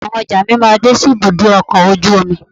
Ọ̀la ni àwọn ọjà mi máa dé sí ibùdó ọkọ̀ ojú omi.